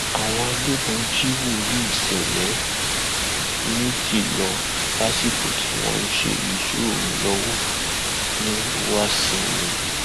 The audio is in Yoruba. àwọn agbébọn jí wòlíì ṣẹlẹ méjì lọ lásìkò tí wọn ń ṣe ìṣọ òru lọwọ ní wàsinmi